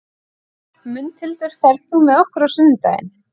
Mundhildur, ferð þú með okkur á sunnudaginn?